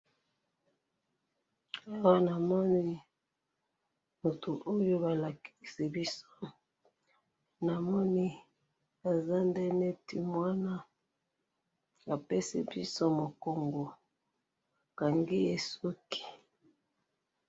awa namoni mutu oyo balakisi biso namoni eza nde neti mwana apesi biso mukongo bakangiye suki.